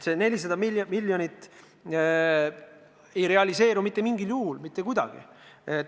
See 400 miljonit ei realiseeru mitte mingil juhul mitte kuidagi.